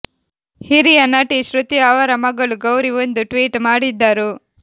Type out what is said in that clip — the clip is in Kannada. ಹಿರಿಯ ನಟಿ ಶ್ರುತಿ ಅವರ ಮಗಳು ಗೌರಿ ಒಂದು ಟ್ವೀಟ್ ಮಾಡಿದ್ದರು